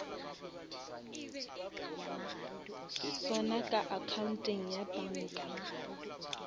sona ka accounteng ya banka